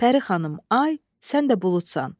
Pəri xanım ay, sən də buludsan.